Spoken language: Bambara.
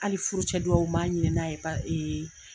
Hali furucɛ dugawu m'a ɲin'a ye